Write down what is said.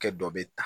Kɛ dɔ bɛ ta